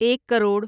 ایک کروڑ